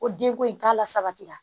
Ko denko in k'a la sabatira